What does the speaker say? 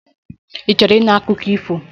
Ị chọrọ ịnụ akụkọ ifo?